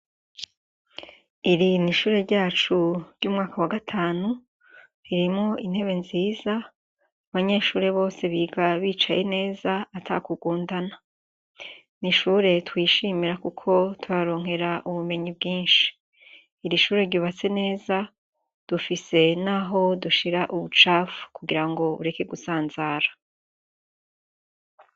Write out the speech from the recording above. Iri ni sihure ryacu ry'umwaka wa gatanu, ririmwo intebe nziza, abanyeshure biga bicaye neza atakugundana. N'ishure twishimira kuko turaharonkera ubumenyi bwinshi. Iri shure ryubatse neza, dufise naho dushira ubucafu kugira ngo bureke gusanzara.